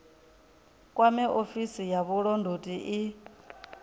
kwame ofisi ya vhulondoti i